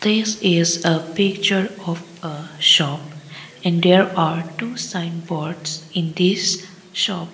this is a picture of a shop and there are two signboards in this shop.